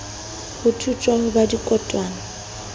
ho thujwa ho ba dikotwana